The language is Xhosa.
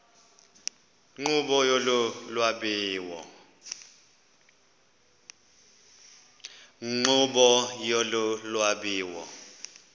nkqubo yolu lwabiwo